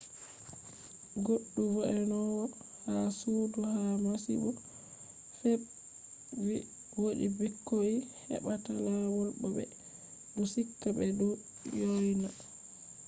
goddu vo’enowo ha sudu ha masibo feb’i vi: wodi bikkoi ebbata lawol bo be du sika be du yoyna